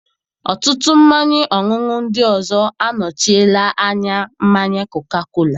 Ọtụtụ mmanya ọṅụṅụ ndị ọzọ anọchiela anya mmanya koka-kola.